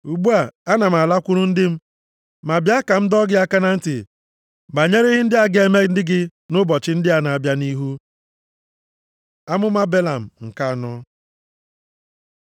Ugbu a, ana m alakwuru ndị m, ma bịa, ka m dọọ gị aka na ntị banyere ihe ndị a ga-eme ndị gị nʼụbọchị ndị a na-abịa nʼihu.” Amụma Belam nke anọ